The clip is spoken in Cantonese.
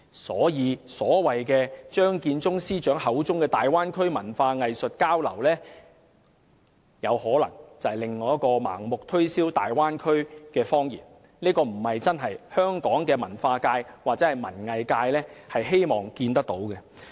所以，張建宗司長口中的"大灣區文化藝術交流"可能是另一個盲目推銷大灣區的謊言，這並非香港文化界或文藝界真正希望看到的。